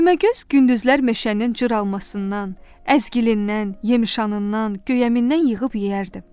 Düyməgöz gündüzlər meşənin cıralmasından, əzgilindən, yemişanından, göyəmindən yığıb yeyərdi.